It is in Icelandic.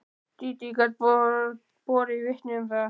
Dídí gat borið vitni um það.